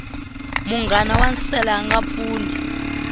munghana wa nsele anga pfuni